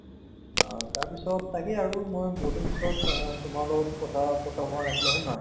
অ, তাৰপিছত তাকে আৰু মই বহুতদিনৰ পিছত অ তোমাৰ লগতো কথাপতা হোৱা নাছিলে হয় নে নহয়